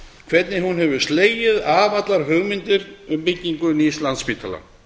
hvernig hún hefur slegið af allar hugmyndir um byggingu nýs landspítala